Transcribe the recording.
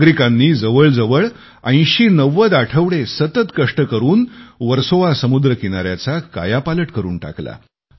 नागरिकांनी जवळजवळ 8090 आठवडे सतत कष्ट करून वर्सोवा समुद्रकिनाऱ्याचा कायापालट करून टाकला